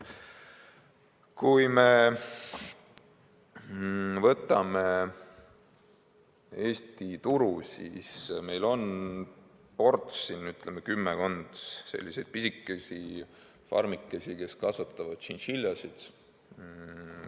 Kui me võtame Eesti turu, siis meil on ports, ütleme, kümmekond pisikest farmikest, kus kasvatatakse tšintšiljasid.